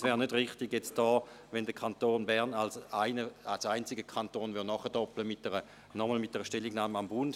Es wäre nicht richtig, wenn der Kanton Bern als einziger Kanton nachdoppelte mit einer nochmaligen Stellungnahme an den Bund.